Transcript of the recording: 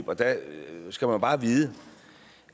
og der skal man bare vide